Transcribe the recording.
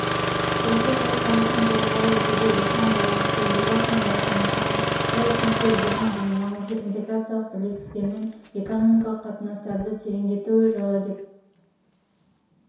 осы жылы қазақстан төрағалық етуде осыған байланысты елбасының бастамасымен жыл үшінші елдермен және маңызды интеграциялық бірлестіктермен экономикалық қатынастарды тереңдету жылы деп